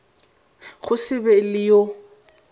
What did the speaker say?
go se be le yo